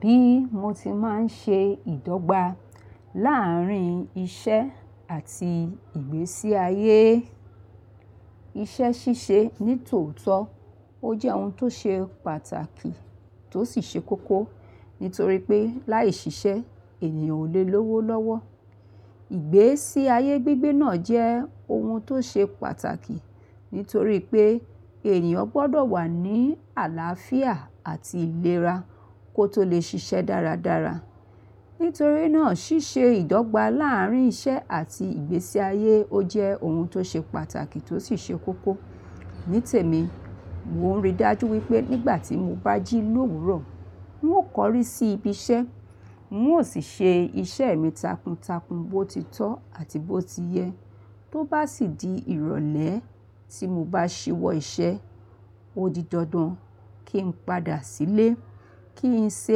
Bí mo ti máa ń ṣe ìdọ́gba láàrín iṣẹ́ àti ìgbésí ayé. Iṣẹ́ ṣíṣe ní tòótọ́, ó jẹ́ ohun tó ṣe pàtàkì tó sì ṣe kókó nítorí pé láì ṣiṣẹ́ ènìyàn ò lè lówó lọ́wọ́. Ìgbésí ayé gbígbé náà jẹ́ ohun tó ṣe pàtàkì nítorí pé ènìyàn gbọ́dọ̀ wà ní àlàáfíà àti ìlera kó tó lè ṣiṣẹ́ dáradára. Nítorí náà ṣíṣe ìdọ́gba láàrín iṣẹ́ àti ìgbésí ayé ó jẹ́ ohun tó ṣe pàtàkì tó sì ṣe kókó. Ní tèmi, mo rí dájú wípé nígbà tí mo bá jí lo'wurọ, n ó kọrí sí ibi iṣẹ́, n ó sì ṣe iṣẹ́ mi takuntakun bó ti tọ́ àti bó ti yẹ. Tó bá sì di ìrọ̀lẹ́ tí mo bá ṣíwọ́ iṣẹ́, ó di dandan kí n padà sílé, kí n ṣe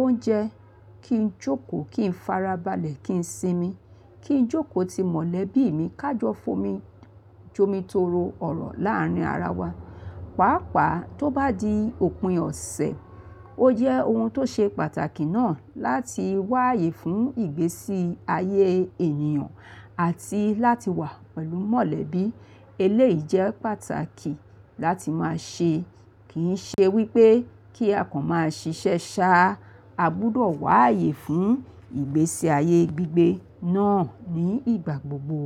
oúnjẹ, kí n jókòó, kí n farabalẹ̀, kí n sinmi, kí n jókòó ti mọ̀lẹ́bí mi, ká jọ f'ọrọ jomi toro ọ̀rọ̀ láàrín ara wa. Pàápàá tó bá di òpin ọ̀sẹ̀, ó jẹ́ ohun tó ṣe pàtàkì náà láti wá ààyè fún ìgbésí ayé ènìyàn àti láti wà pẹ̀lú mọ̀lẹ́bí. Eléyìí jẹ́ pàtàkì láti máa ṣe. Kì í ṣe wípé kí àkàn máa ṣiṣẹ́ ṣá, a gbúdọ̀ wá ààyè fún ìgbésí ayé gbígbé náà ní ìgbà gbogbo.